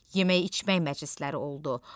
Yemək-içmək məclisləri oldu.